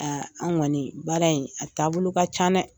Aa anw kɔni baara in a taabolo ka ca dɛ!